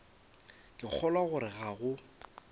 ke kgolwa gore ga go